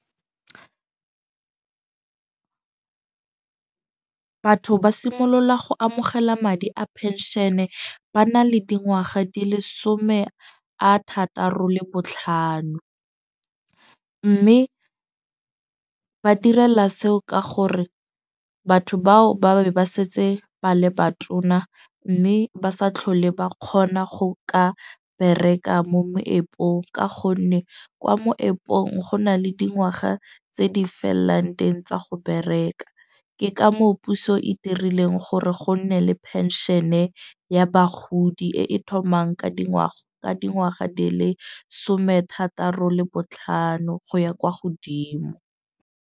Batho ba simolola go amogela madi a penšene ba na le dingwaga di le some a thataro le botlhano. Mme ba tirela seo ka gore batho bao ba be ba setse ba le batona. Mme ba sa tlhole ba kgona go ka bereka mo moepong. Ka gonne kwa moepong go na le dingwaga tse di fellang teng tsa go bereka. Ke ka moo puso e dirileng gore go nne le penšene ya bagodi, e e thomang ka dingwaga ka dingwaga di le some thataro le botlhano go ya kwa godimo.